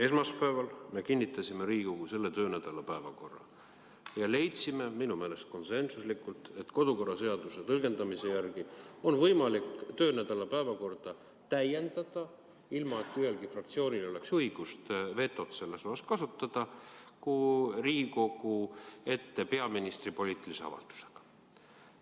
Esmaspäeval me kinnitasime Riigikogu selle töönädala päevakorra ja leidsime – minu meelest konsensuslikult –, et kodukorraseaduse tõlgendamise järgi on võimalik töönädala päevakorda täiendada, ilma et ühelgi fraktsioonil oleks õigust vetot kasutada, peaministri poliitilise avaldusega Riigikogu ees.